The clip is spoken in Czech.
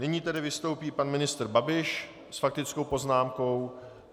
Nyní tedy vystoupí pan ministr Babiš s faktickou poznámkou.